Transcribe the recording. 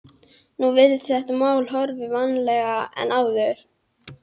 Nú virðist þetta mál horfa vænlegar en áður.